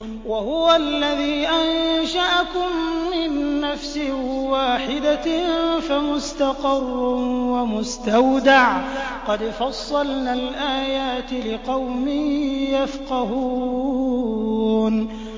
وَهُوَ الَّذِي أَنشَأَكُم مِّن نَّفْسٍ وَاحِدَةٍ فَمُسْتَقَرٌّ وَمُسْتَوْدَعٌ ۗ قَدْ فَصَّلْنَا الْآيَاتِ لِقَوْمٍ يَفْقَهُونَ